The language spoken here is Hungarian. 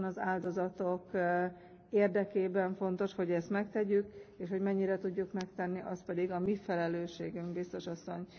Pontosan az áldozatok érdekében fontos, hogy ezt megtegyük, és hogy mennyire tudjuk megtenni, az pedig a mi felelősségünk, Biztos Asszony.